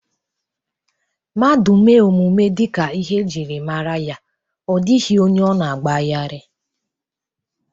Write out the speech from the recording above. Mmadu mee omume dika ihe e jiri mara ya o dighi onye o na-agba gharii.